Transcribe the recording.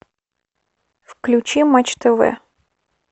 включи матч тв